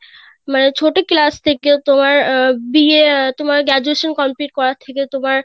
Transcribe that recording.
মানে ছোট class থেকে তোমার আহ বা আহ তোমার graduation complete করা থেকে তোমার